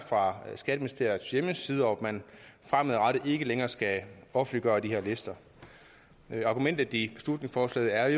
fra skatteministeriets hjemmeside og at man fremadrettet ikke længere skal offentliggøre de her lister argumentet i beslutningsforslaget er